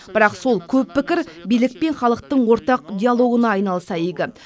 бірақ сол көп пікір билік пен халықтың ортақ диалогына айналса игі